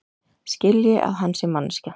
Skilji að hann sé manneskja.